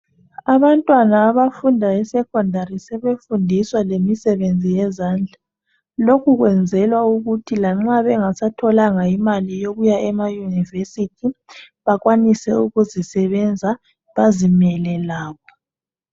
Abantwana abafunda esecondary sebefundiswa lemisebenzi yezandla. Lokhu kwenzelwa ukuthi lanxa bengasatholanga imali yokuya ema yunivesithi, bakwanise ukuzisebenza bazimele labo.